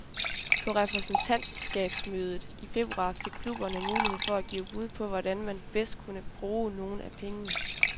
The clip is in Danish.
På repræsentantskabsmødet i februar fik klubberne mulighed for at give bud på, hvordan man bedst kunne bruge nogen af pengene.